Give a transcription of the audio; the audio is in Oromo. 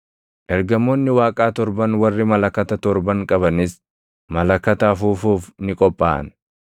Ergamoonni Waaqaa torban warri malakata torban qabanis malakata afuufuuf ni qophaaʼan.